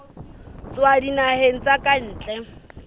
tswa dinaheng tsa ka ntle